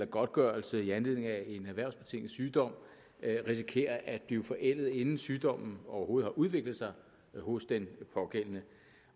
godtgørelse i anledning af en erhvervsbetinget sygdom risikerer at blive forældet inden sygdommen overhovedet har udviklet sig hos den pågældende